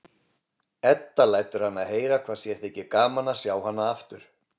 Edda lætur hana heyra hvað sér þyki gaman að sjá hana aftur.